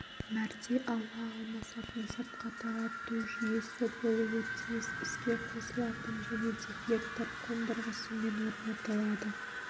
мәрте ауа алмасатын сыртқа тарату жүйесі болуы тиіс іске қосылатын және дефлектор қондырғысымен орнатылады